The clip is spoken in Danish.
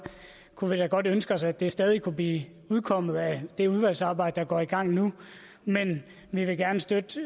kunne vi da godt ønske os at det stadig kunne blive udkommet af det udvalgsarbejde der går i gang nu men vi vil gerne støtte det